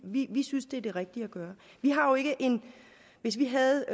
vi vi synes det er det rigtige at gøre hvis vi havde